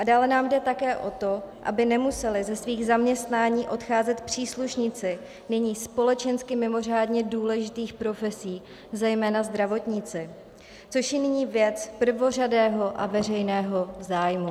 A dále nám jde také o to, aby nemuseli ze svých zaměstnání odcházet příslušníci nyní společensky mimořádně důležitých profesí, zejména zdravotníci, což je nyní věc prvořadého a veřejného zájmu.